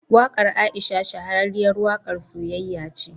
Waƙar Aisha shahararriyar waƙar siyayya ce.